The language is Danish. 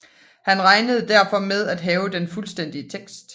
Man regner derfor med at have den fuldstændige tekst